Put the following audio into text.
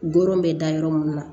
Doro bɛ da yɔrɔ mun na